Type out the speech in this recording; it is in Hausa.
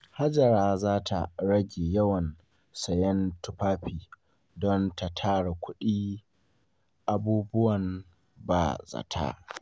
Hajara za ta rage yawan sayen tufafi don ta tara kuɗin abubuwan ba-zata.